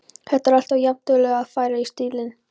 Þú ert alltaf jafnduglegur við að færa í stílinn.